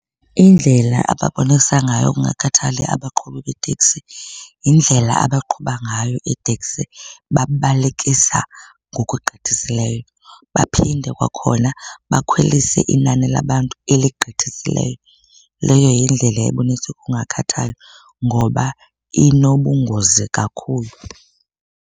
Indlela ababonisa ngayo ukungakhathali abaqhubi beeteksi yindlela abaqhuba ngayo iiteksi, babalekisa ngokugqithisileyo. Baphinde kwakhona bakhwelise inani labantu eligqithisileyo. Leyo yindlela ebonisa ukungakhathali ngoba inobungozi kakhulu.